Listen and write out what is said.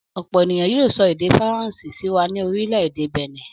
Ọ̀pọ̀ ènìyàn sọ èdè Faransé sí wa ní orílẹ̀-èdè Bẹ̀nẹ̀.